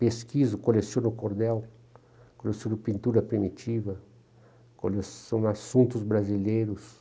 Pesquiso, coleciono cordel, coleciono pintura primitiva, coleciono assuntos brasileiros.